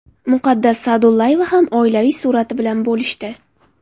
Muqaddas Sa’dullayeva ham oilaviy surati bilan bo‘lishdi.